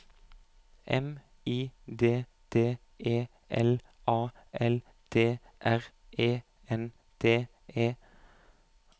M I D D E L A L D R E N D E